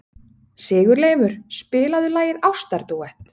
Sigurleifur, spilaðu lagið „Ástardúett“.